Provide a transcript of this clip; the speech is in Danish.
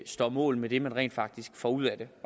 står mål med det man rent faktisk får ud af det